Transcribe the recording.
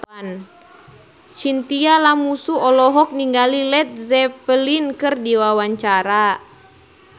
Chintya Lamusu olohok ningali Led Zeppelin keur diwawancara